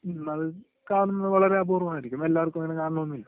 മ്, അത് കാണുന്നത് വളരെ അപൂർ വമായിരിക്കും.എല്ലാവർക്കും അങ്ങനെ കാണണമെന്നില്ല.